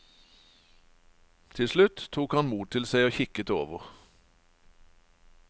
Til slutt tok han mot til seg og kikket over.